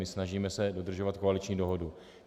My se snažíme dodržovat koaliční dohodu.